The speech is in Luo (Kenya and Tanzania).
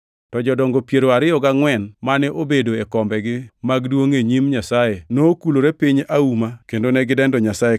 To jodongo piero ariyo gangʼwen mane obedo e kombegi mag duongʼ e nyim Nyasaye, nokulore piny auma kendo ne gidendo Nyasaye,